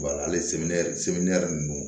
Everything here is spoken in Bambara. Wa hali ninnu